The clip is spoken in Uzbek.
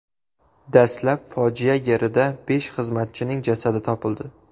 Dastlab fojia yerida besh xizmatchining jasadi topildi.